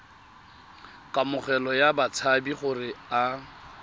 kamogelo ya batshabi gore a